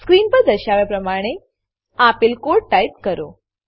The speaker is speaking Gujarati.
સ્ક્રીન પર દર્શાવ્યા પ્રમાણે આપેલ કોડ ટાઈપ કરો